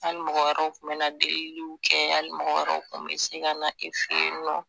Ali mɔgɔ wɛrɛw kun be na deliliw kɛ ali mɔgɔ wɛrɛw kun be se ka na e fe yen nɔ